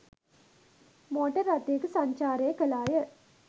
Motor රථයක සංචාරය කළාය.